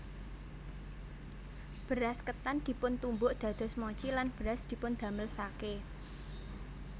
Beras ketan dipuntumbuk dados mochi lan beras dipundamel sake